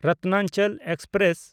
Ratnachal express